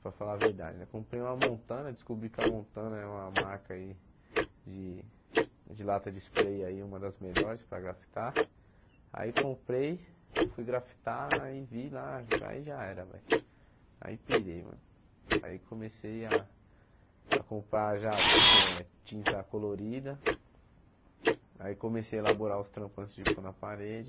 para falar a verdade né, comprei uma montana, descobri que a montana é uma marca aí de de lata de spray aí uma das melhores para grafitar aí comprei, fui grafitar e vi lá, aí já era aí pirei mano, aí comecei a a comprar já ti eh tinta colorida aí comecei a elaborar os trampos antes de pôr na parede